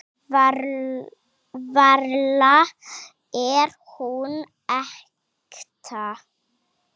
Varla er hún ekta.